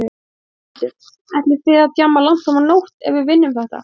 Þórhildur: Ætlið þið að djamma langt fram á nótt ef við vinnum þetta?